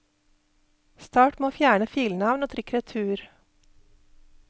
Start med å fjerne filnavn, og trykk retur.